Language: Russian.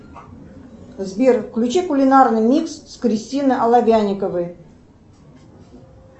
сбер включи кулинарный микс с кристиной оловянниковой